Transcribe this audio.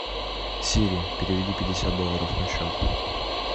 сири переведи пятьдесят долларов на счет